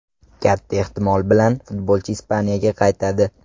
Katta ehtimol bilan futbolchi Ispaniyaga qaytadi.